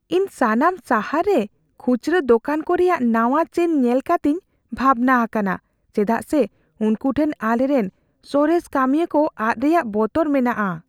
ᱤᱧ ᱥᱟᱱᱟᱢ ᱥᱟᱦᱟᱨ ᱨᱮ ᱠᱷᱩᱪᱨᱟᱹ ᱫᱚᱠᱟᱱ ᱠᱚ ᱨᱮᱭᱟᱜ ᱱᱟᱣᱟ ᱪᱮᱱ ᱧᱮᱞ ᱠᱟᱛᱮᱧ ᱵᱷᱟᱵᱽᱱᱟ ᱟᱠᱟᱱᱟ, ᱪᱮᱫᱟᱜ ᱥᱮ ᱩᱱᱠᱩ ᱴᱷᱮᱱ ᱟᱞᱮᱨᱮᱱ ᱥᱚᱨᱮᱥ ᱠᱟᱹᱢᱤᱭᱟᱹ ᱠᱚ ᱟᱫ ᱨᱮᱭᱟᱜ ᱵᱚᱛᱚᱨ ᱢᱮᱱᱟᱜᱼᱟ ᱾